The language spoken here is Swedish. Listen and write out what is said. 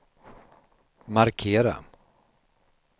markera